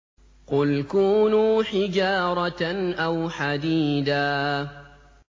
۞ قُلْ كُونُوا حِجَارَةً أَوْ حَدِيدًا